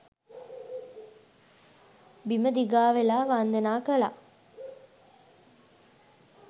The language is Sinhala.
බිම දිගා වෙලා වන්දනා කළා